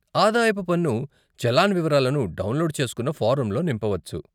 ఆదాయపు పన్ను చలాన్ వివరాలను డౌన్లోడ్ చేసుకున్న ఫారంలో నింపవచ్చు.